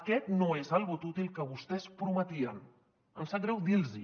aquest no és el vot útil que vostès prometien em sap greu dir los ho